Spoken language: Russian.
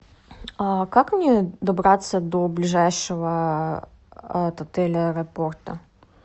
как мне добраться до ближайшего от отеля аэропорта